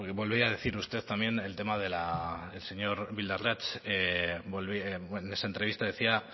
volvía a decir usted también el tema de la el señor bildarratz en esa entrevista decía